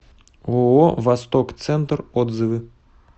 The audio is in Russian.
ооо восток центр отзывы